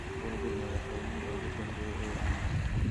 google madaxweynihii ugu dambeeyay ee aan lahayn